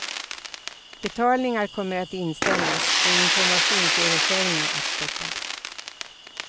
Betalningar kommer att inställas och informationsöverföringar att stoppas.